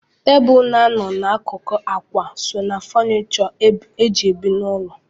Tebụl na-anọ n'akụkụ ákwà so ná fọnishọ eji ebi n'ụlọ.